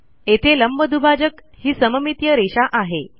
येथे लंबदुभाजक ही सममितीय रेषा आहे